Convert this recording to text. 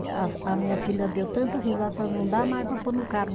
A a minha filha deu tanta risada, falou, não dá mais para pôr no carro.